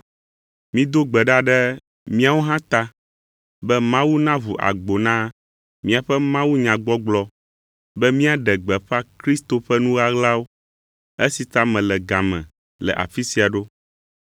Mido gbe ɖa ɖe míawo hã ta be Mawu naʋu agbo na míaƒe mawunyagbɔgblɔ be míaɖe gbeƒã Kristo ƒe nu ɣaɣlawo, esi ta mele ga me le afi sia ɖo.